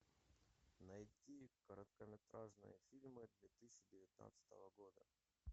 найти короткометражные фильмы две тысячи девятнадцатого года